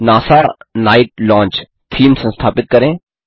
NASA night launch theme संस्थापित करें